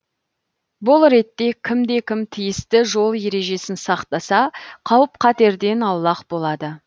бұл ретте кімде кім тиісті жол ережесін сақтаса қауіп қатерден аулақ болады